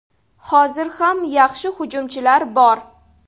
Hozir ham yaxshi hujumchilar bor.